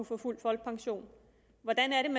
få fuld folkepension hvordan